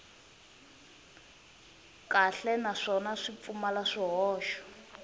kahle naswona swi pfumala swihoxo